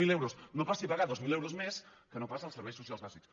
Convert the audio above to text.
zero euros no passi a pagar dos mil euros més que no pas els serveis socials bàsics